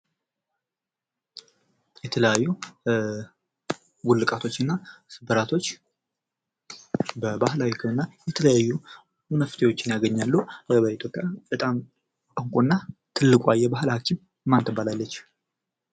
የተለያዩ ውልቃቶችን እና ስብራቶች በባህላዊ ከሆነ የተለያዩ መፍትሄዎችን ያገኛሉ። በኢትዮጵይስ በጣም እውቁዋ ና ትልቋ የባህል ሐኪም ማን ተባላለች?